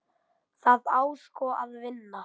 Það á sko að vinna.